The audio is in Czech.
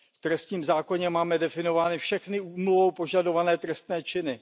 V trestním zákoně máme definovány všechny úmluvou požadované trestné činy.